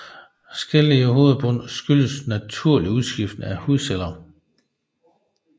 Skæl i hovedbunden skyldes naturlig udskiftning af hudceller